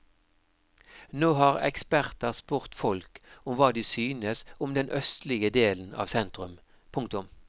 Nå har eksperter spurt folk om hva de synes om den østlige delen av sentrum. punktum